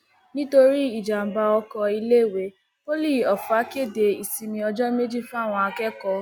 nítorí ìjàḿbà ọkọ iléèwé poli ofa kéde ìsinmi ọjọ méjì fáwọn akẹkọọ